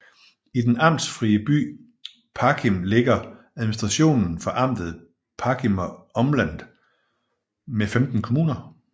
I den amtsfrie by Parchim ligger administrationen for Amtet Parchimer Umland med 15 kommuner